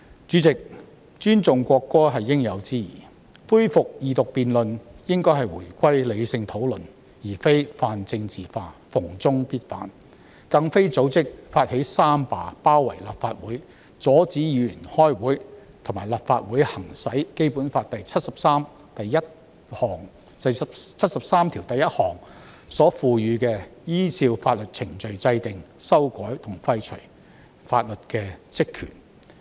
主席，尊重國歌是應有之義，恢復二讀辯論應該回歸理性討論，而非泛政治化，逢中必反，更不應組織或發起三罷，包圍立法會，阻止議員開會，以及阻止立法會行使《基本法》第七十三條第一項賦予的依照法定程序制定、修改和廢除法律的職權。